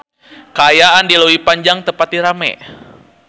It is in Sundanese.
Kaayaan di Leuwi Panjang teu pati rame